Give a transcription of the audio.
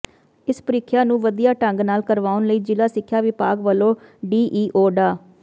ਇਸ ਪ੍ਰੀਖਿਆ ਨੂੰ ਵਧੀਆ ਢੰਗ ਨਾਲ ਕਰਵਾਉਣ ਲਈ ਜ਼ਿਲ੍ਹਾ ਸਿੱਖਿਆ ਵਿਭਾਗ ਵੱਲੋਂ ਡੀਈਓ ਡਾ